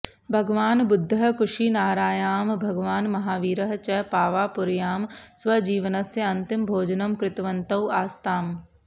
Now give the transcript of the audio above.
भगवान् बुद्धः कुशिनारायां भगवान् महावीरः च पावापुर्यां स्वजीवनस्य अन्तिमभोजनं कृतवन्तौ आस्ताम्